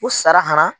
U sara ka na